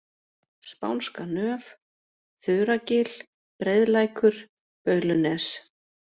Spánska nöf, Þuragil, Breiðlækur, Baulunes